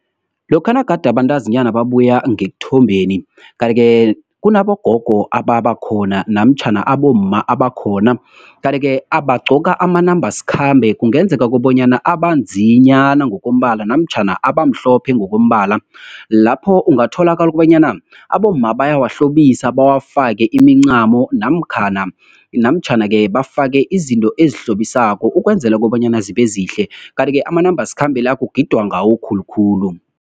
Lokha nagade abantazinyana babuya ngekuthombeni, kanti-ke kunabogogo ababakhona, namtjhana abomma abakhona. Kanti-ke abagqoka amanambasikhambe, kungenzeka kobanyana abanzinyana ngokombala, namtjhana abamhlophe ngokombala. Lapho ungatholakala ukobanyana, abomma bayawahlobisa bawafake imincamo, namtjhana-ke, bafake izinto ezihlobisako, ukwenzela kobanyana zibezihle. Kanti-ke, amanambasikhambe la, kugidwa ngawo khulukhulu.